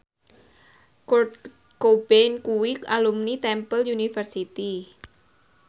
Kurt Cobain kuwi alumni Temple University